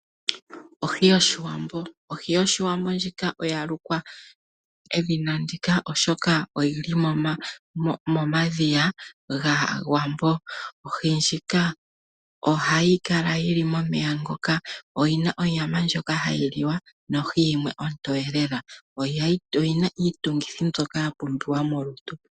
Ohi yoshiwambo Ohi yoshiwambo ndjika oya lukwa edhina ndika oshoka oyili momadhiya gaawambo. Ohi ndjika ohayi kala yili momeya ngoka, oyina onyama ndjoka hayi liwa nohi yimwe ontoye lela. Oyina iitungithi mbyoka ya pumbiwa molutu.